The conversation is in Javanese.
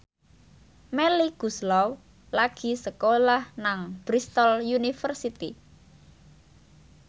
Melly Goeslaw lagi sekolah nang Bristol university